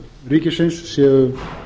ríkisins séu